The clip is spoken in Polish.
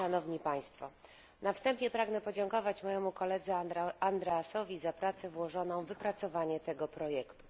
Na wstępie pragnę podziękować mojemu koledze Andreasowi za pracę włożoną w wypracowanie tego projektu.